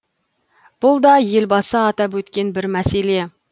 бұл да елбасы атап өткен бір мәселе